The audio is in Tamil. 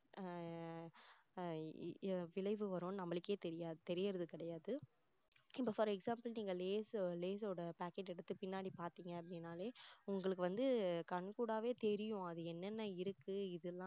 ஆஹ் அஹ் விளைவு வரும் நம்மளுக்கே தெரியாது தெரியுறது கிடையாது இப்போ ஒரு for example நீங்க லேஸ் லேஸோட packet எடுத்து பின்னாடி பார்த்தீங்க அப்படின்னாலே உங்களுக்கு வந்து கண்கூடாவே கண்தெரியும் அது என்னென்ன இருக்கு இது